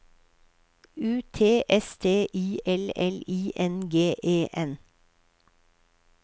U T S T I L L I N G E N